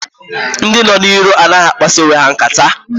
Ndị nọ n'iro anaghị akpasa onwe ha nkata.